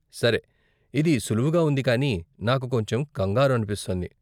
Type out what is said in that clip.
సరే, ఇది సులువుగా ఉంది కాని నాకు కొంచెం కంగారు అనిపిస్తోంది.